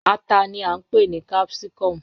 Ata ni a npe ni capsicum